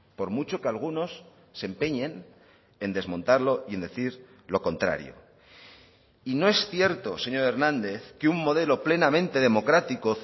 por mucho que algunos se empeñen en desmontarlo y en decir lo contrario y no es cierto señor hernández que un modelo plenamente democrático